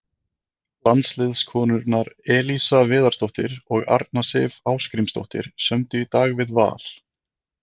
Landsliðskonurnar Elísa Viðarsdóttir og Arna Sif Ásgrímsdóttir sömdu í dag við Val.